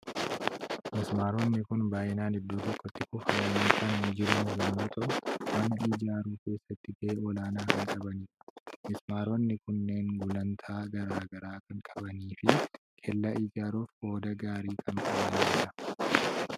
Mismaaronni kun baay'inaan iddoo tokkotti kuufamanii kan jiran yommuu ta'u, mana ijaaruu keessatti gahee olaanaa kan qabanidha. Mismaaronni kunneen gulantaa garaa garaa kan qabanii fi kellaa ijaaruuf qooda gaarii kan qabanidha.